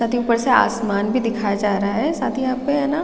साथ ही ऊपर से आसमान भी दिखाया जा रहा है साथ ही यहाँ पे है ना--